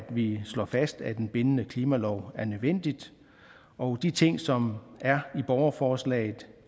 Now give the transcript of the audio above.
vi slår fast at en bindende klimalov er nødvendig og de ting som er i borgerforslaget